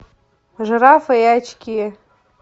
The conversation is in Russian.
жирафы и очки